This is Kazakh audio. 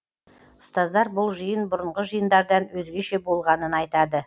ұстаздар бұл жиын бұрынғы жиындардан өзгеше болғанын айтады